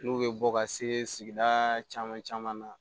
N'u bɛ bɔ ka segaa caman caman na